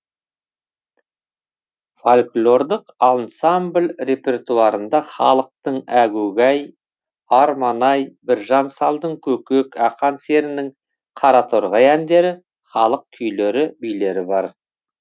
фольклорлық ансамбль репертуарында халықтың әгугай арман ай біржан салдың көкек ақан серінің қараторғай әндері халық күйлері билері бар